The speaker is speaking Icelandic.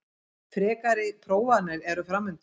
Frekari prófanir eru framundan